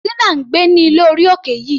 Tina ń gbé ní ilé orí òkè yìí.